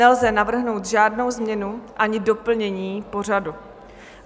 Nelze navrhnout žádnou změnu ani doplnění pořadu.